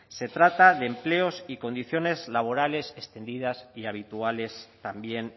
se trata de empleos y condiciones laborales extendidas y habituales también